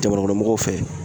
Jamanakɔnɔmɔgɔw fɛ